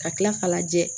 Ka kila k'a lajɛ